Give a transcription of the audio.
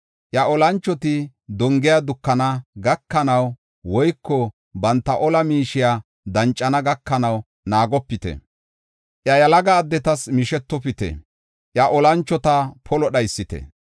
Iya olanchoti dongiya dukana gakanaw woyko banta ola miishiya dancana gakanaw naagopite. Iya yalaga addetas mishetopite; iya olanchota polo dhaysite.